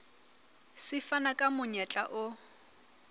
se fana ka monyetla o